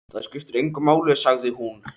Það skiptir engu máli, sagði hún.